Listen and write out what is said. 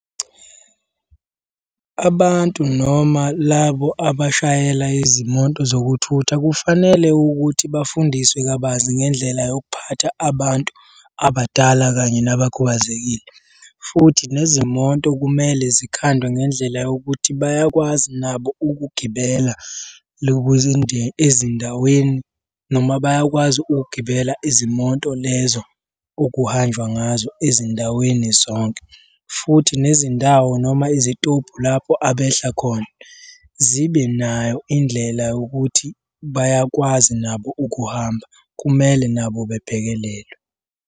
Abantu noma labo abashayela izimoto zokuthutha kufanele ukuthi bafundiswe kabanzi ngendlela yokuphatha abantu abadala kanye nabakhubazekile, futhi nezimoto kumele zikhandwe ngendlela yokuthi bayakwazi nabo ukugibela ezindaweni noma bayakwazi ukugibela izimoto lezo okuhanjwa ngazo ezindaweni zonke, futhi nezindawo noma izitobhu lapho abehla khona zibe nayo indlela yokuthi bayakwazi nabo ukuhamba, kumele nabo bebhekelelwe.